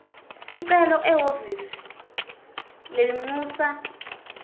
sicelo ehhovisi lelincusa